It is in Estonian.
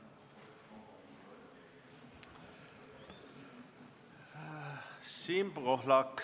Siim Pohlak, palun!